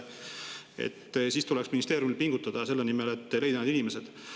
Ministeeriumil tuleks pingutada selle nimel, et leida need inimesed.